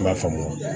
I b'a faamu